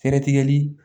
Fɛɛrɛ tigɛli